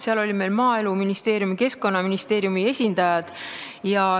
Seal olid meil Maaeluministeeriumi ja Keskkonnaministeeriumi esindajad.